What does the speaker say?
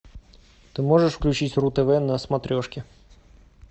ты можешь включить ру тв на смотрешке